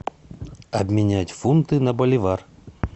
обменять фунты на боливар